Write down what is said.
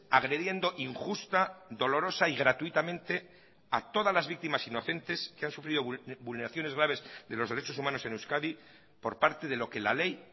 agrediendo injusta dolorosa y gratuitamente a todas las víctimas inocentes que han sufrido vulneraciones graves de los derechos humanos en euskadi por parte de lo que la ley